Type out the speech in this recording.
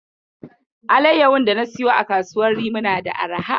Alayyahun dana siya a kasuwar rimi na da arha.